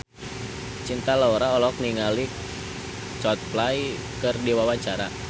Cinta Laura olohok ningali Coldplay keur diwawancara